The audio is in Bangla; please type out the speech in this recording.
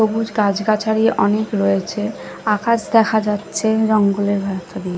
সবুজ গাছ-গাছাড়ি অনেক রয়েছে আকাশ দেখা যাচ্ছে রং ।